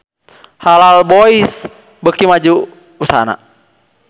Halal Boys beuki maju usahana